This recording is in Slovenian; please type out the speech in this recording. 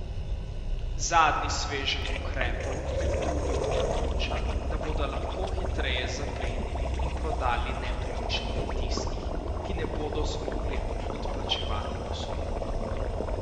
Zadnji sveženj ukrepov med drugim omogoča, da bodo lahko hitreje zaplenili in prodali nepremičnine tistih, ki ne bodo zmogli odplačevati posojil.